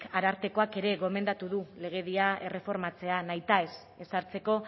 arartekoak ere gomendatu du legedia erreformatzea nahitaez ezartzeko